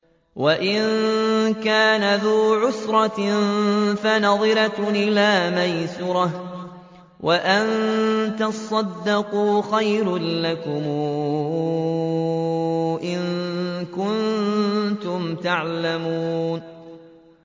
وَإِن كَانَ ذُو عُسْرَةٍ فَنَظِرَةٌ إِلَىٰ مَيْسَرَةٍ ۚ وَأَن تَصَدَّقُوا خَيْرٌ لَّكُمْ ۖ إِن كُنتُمْ تَعْلَمُونَ